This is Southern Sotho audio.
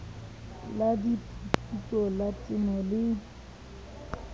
la diphuputso la temo le